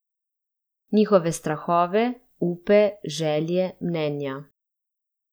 Njihove strahove, upe, želje, mnenja.